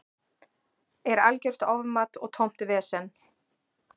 Er algjört ofmat og tómt vesen.